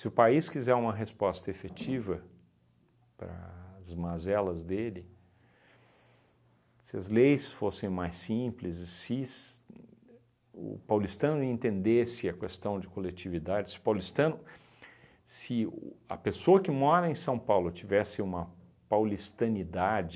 Se o país quiser uma resposta efetiva para as mazelas dele, se as leis fossem mais simples, e ses uhn o paulistano entendesse a questão de coletividade, se o paulistano se o a pessoa que mora em São Paulo tivesse uma paulistanidade